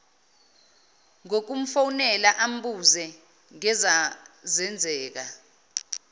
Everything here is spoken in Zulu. ngokumfonela ambuze ngezazenzeka